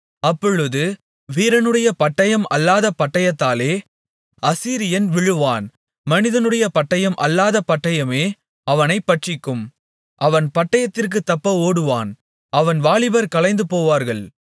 அப்பொழுது வீரனுடைய பட்டயம் அல்லாத பட்டயத்தாலே அசீரியன் விழுவான் மனிதனுடைய பட்டயம் அல்லாத பட்டயமே அவனைப் பட்சிக்கும் அவன் பட்டயத்திற்குத் தப்ப ஓடுவான் அவன் வாலிபர் கலைந்துபோவார்கள்